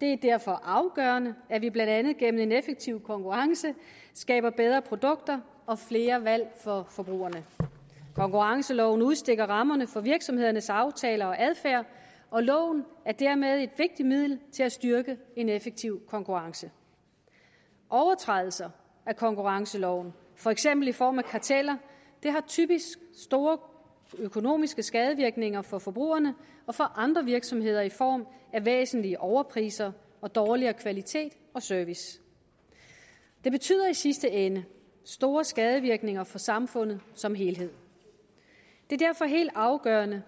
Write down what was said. det er derfor afgørende at vi blandt andet gennem en effektiv konkurrence skaber bedre produkter og flere valg for forbrugerne konkurrenceloven udstikker rammerne for virksomhedernes aftaler og adfærd og loven er dermed et vigtigt middel til at styrke en effektiv konkurrence overtrædelser af konkurrenceloven for eksempel i form af karteller har typisk store økonomiske skadevirkninger for forbrugerne og for andre virksomheder i form af væsentlige overpriser og dårligere kvalitet og service det betyder i sidste ende store skadevirkninger for samfundet som helhed det er derfor helt afgørende